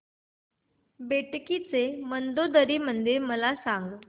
बेटकी चे मंदोदरी मंदिर मला सांग